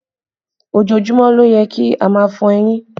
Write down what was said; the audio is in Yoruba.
Ojoojúmọ́ ló yẹ kí a máa fọ eyín